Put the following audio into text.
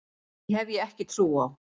Því hef ég ekki trú á.